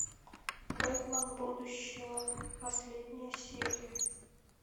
бэтмен будущего последняя серия